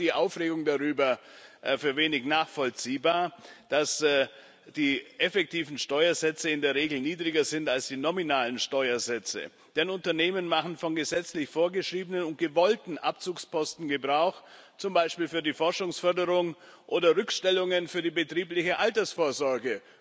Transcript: Ich finde auch die Aufregung darüber wenig nachvollziehbar, dass die effektiven Steuersätze in der Regel niedriger sind als die nominalen Steuersätze, denn Unternehmen machen von gesetzlich vorgeschriebenen und gewollten Abzugsposten Gebrauch, zum Beispiel für die Forschungsförderung oder Rückstellungen für die betriebliche Altersvorsorge.